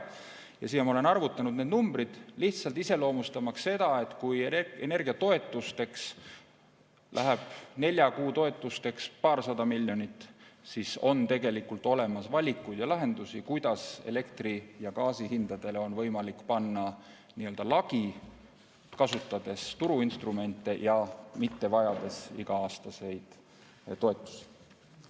Ja siin ma olen arvutanud need numbrid, lihtsalt iseloomustamaks seda, et kui energiatoetusteks läheb nelja kuu jooksul paarsada miljonit, siis on tegelikult olemas valikuid ja lahendusi, kuidas elektri ja gaasi hindadele on võimalik panna lagi, kasutades turuinstrumente ja mitte vajades iga-aastaseid toetusi.